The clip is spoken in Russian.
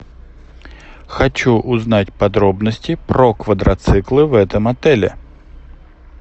хочу узнать подробности про квадроциклы в этом отеле